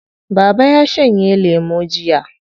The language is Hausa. Baba ya shanye lemo jiya.